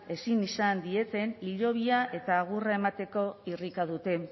ezin izan dieten hilobia eta agurra emateko irrika dute